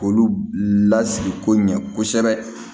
K'olu lasigi ko ɲɛ kosɛbɛ